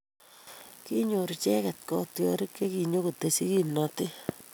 Kinyor icheket kotiorik che kinyokotesyi kimnotet".